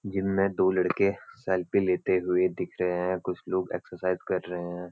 Gym मे दो लड़के सेल्फ़ी लेते हुए दिख रहे हैं कुछ लोग इक्साइज़ कर रहे हैं।